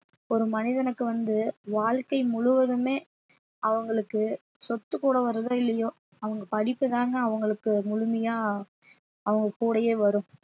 ஒரு மனிதனுக்கு வந்து வாழ்க்கை முழுவதுமே அவங்களுக்கு சொத்து கூட வருதோ இல்லையோ அவங்க படிப்புதாங்க அவங்களுக்கு முழுமையா அவங்க கூடயே வரும்